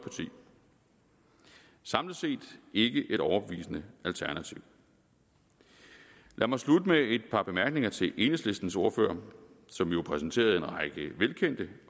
samlet set ikke et overbevisende alternativ lad mig slutte med et par bemærkninger til enhedslistens ordfører som jo præsenterede en række velkendte